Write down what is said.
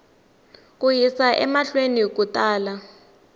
ku yisa emahlweni ku tala